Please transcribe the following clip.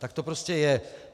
Tak to prostě je.